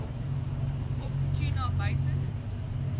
op tuna buiten